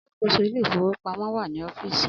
Alakoso ile-ifowopamọ wa ni ọfiisi.